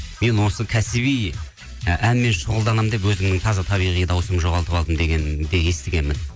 мен осы кәсіби і әнмен шұғылданамын деп өзімнің таза табиғи дауысымды жоғалтып алдым дегенді естігенмін